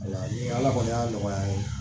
Wala kɔni y'a nɔgɔya n ye